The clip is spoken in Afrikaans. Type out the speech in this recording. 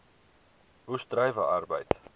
oes druiwe arbeid